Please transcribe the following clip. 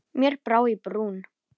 Mér brá í brún.